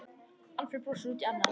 Alfreð brosir út í annað.